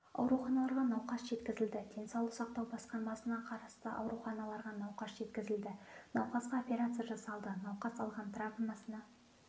ауруханаларға науқас жеткізілді денсаулық сақтау басқармасына қарасты ауруханаларға науқас жеткізілді науқасқа операция жасалды науқас алған травмасына